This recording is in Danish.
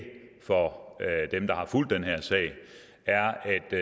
for dem der har fulgt den her sag er